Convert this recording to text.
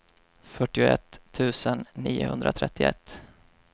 fyrtioett tusen niohundratrettioett